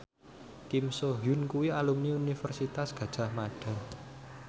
Kim So Hyun kuwi alumni Universitas Gadjah Mada